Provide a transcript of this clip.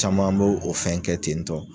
Caman b'o o fɛn kɛ ten tɔ.